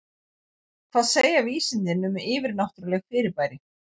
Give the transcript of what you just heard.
Hvað segja vísindin um yfirnáttúrleg fyrirbæri?